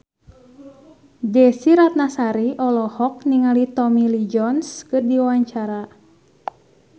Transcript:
Desy Ratnasari olohok ningali Tommy Lee Jones keur diwawancara